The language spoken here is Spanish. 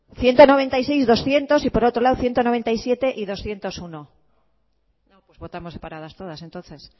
ciento noventa y seis doscientos y por otro lado ciento noventa y siete y doscientos uno pues votamos separadas todas entonces